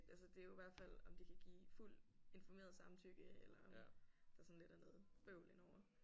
Altså det er jo hvert fald om de kan give fuld informeret samtykke eller der sådan lidt er noget bøvl indover